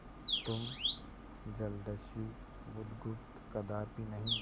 तुम जलदस्यु बुधगुप्त कदापि नहीं